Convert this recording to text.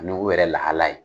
Ŋugu yɛrɛ lahala ye